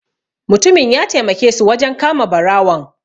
Mutumin ya taimake su wajen kama barawon.